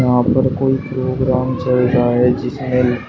वहां पर कोई प्रोग्राम चल रहा है जिसमें--